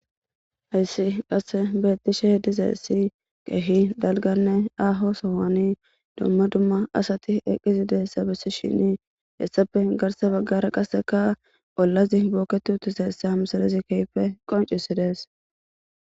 hayssi qasse betishe dizayssi keehi dalganne aaho sohoni dumma dumma asati eqqizideysa bessishini hessape garsa baggara qasseka ollazi booketu uttizayssa ha misilezi kehippe qoncisidees.